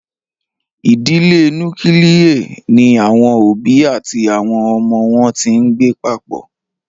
Idile nukilie ni awọn obi ati awọn ọmọ wọn ti ngbe papọ.